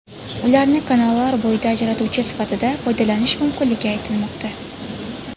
Ularni kanallar bo‘yida ajratuvchi sifatida foydalanish mumkinligi aytilmoqda.